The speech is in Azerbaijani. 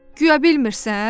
Guya bilmirsən?